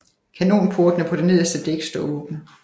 Kanonportene på det nederste dæk står åbne